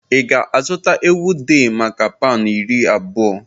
Ị ga-azụta ewu dey maka pound iri abụọ?